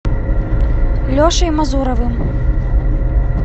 лешей мазуровым